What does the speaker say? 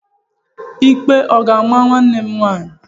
Ikpe ọ ga-ama nwanne m nwaanyị?